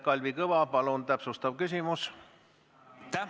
Kalvi Kõva, palun, täpsustav küsimus!